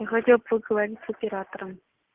я хотел поговорить с оператором